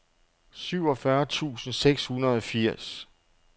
syvogfyrre tusind seks hundrede og firs